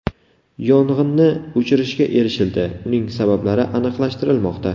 Yong‘inni o‘chirishga erishildi, uning sabablari aniqlashtirilmoqda.